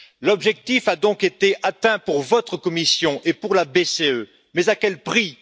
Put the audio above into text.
L'objectif a donc été atteint pour votre Commission et pour la BCE, mais à quel prix?